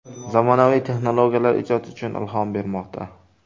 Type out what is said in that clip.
Zamonaviy texnologiyalar ijod uchun ilhom bermoqda.